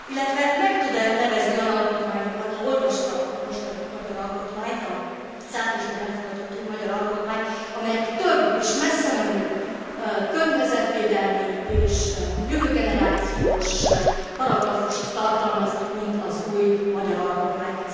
Illetve meg tud e nevezni olyan alkotmányokat ha olvasta a mostani magyar alkotmányt, az áprilisban elfogadott új magyar alkotmányt amelyik több és messzemenőbb környezetvédelmi és jövő generációs paragrafust tartalmaz, mint az új magyar alkotmány?